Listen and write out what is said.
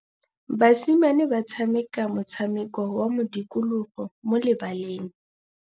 Basimane ba tshameka motshameko wa modikologô mo lebaleng.